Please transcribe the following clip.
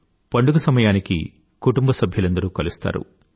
పండుగ సమయానికి కుటుంబసభ్యులందరూ కలుస్తారు